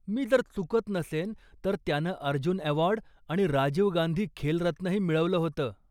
मी जर चुकत नसेन, तर त्यानं अर्जुन अवॉर्ड आणि राजीव गांधी खेलरत्नही मिळवलं होतं.